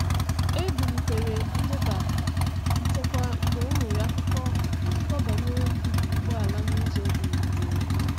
E bulitere nleba nchekwa mgbe e nwere akụkọ akụkọ banyere ibibi ụgbọala na ụzọ dị jụụ.